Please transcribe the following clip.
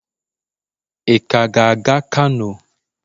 ị ka ga-aga kano?